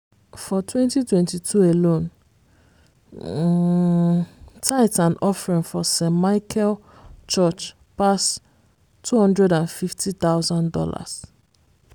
for 2022 alone um tithe and offering for st. michael church pass two hundred and fifty thousand dollars